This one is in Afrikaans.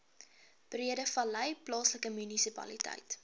breedevallei plaaslike munisipaliteit